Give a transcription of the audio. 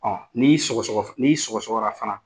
Ɔn n'i sɔgɔsɔgɔ, n'i sɔgɔsɔgɔra fana